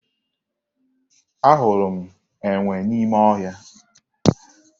Ahụrụ m enwe n'ime ọhịa